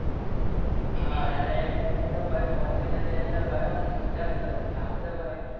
હા અને એ ટાઇમ એ તો ભાઈ ફોન બી નતો એટલે ભાઈ ઓમ મજા આવી જતી હાલ તો ભાઈ